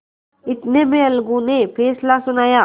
इतने में अलगू ने फैसला सुनाया